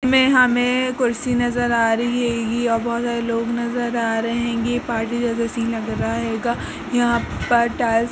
में हमें कुर्सी नजर आ रही है ये बहोत सारे लोग नजर आ रहे हैं। ये पार्टी वाला सीन लग रहा हेगा । यहाॅं पर टाइल्स --